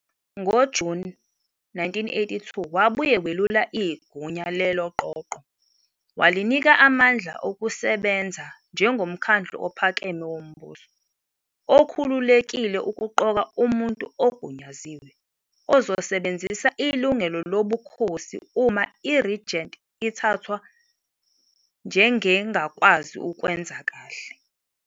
NgoJuni 1982 wabuye welula igunya "leLoqoqo", walinika amandla okusebenza "njengoMkhandlu Ophakeme Wombuso", okhululekile ukuqoka "Umuntu Ogunyaziwe" ozosebenzisa ilungelo lobukhosi uma i-regent ithathwa njengengakwazi ukwenza kahle.